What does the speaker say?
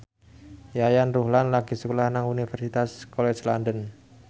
Yayan Ruhlan lagi sekolah nang Universitas College London